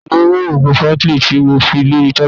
ta lo mu oògùn fagly ti mo fi lori tabili?